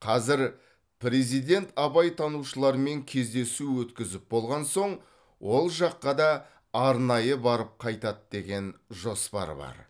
қазір президент абайтанушылармен кездесу өткізіп болған соң ол жаққа да арнайы барып қайтады деген жоспар бар